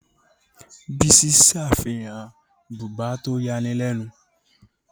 Bísí ṣe àfihàn bùbá tó yani lẹ́nu.